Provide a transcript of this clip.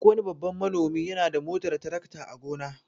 Duk wani babban manomi yana da motar tarakta a gona.